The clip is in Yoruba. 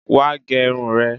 Wá gẹ irun rẹ